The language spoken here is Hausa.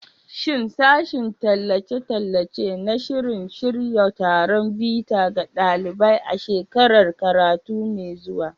Shin Sashen Tallace-tallace na shirin shirya taron bita ga ɗalibai a shekarar karatu mai zuwa?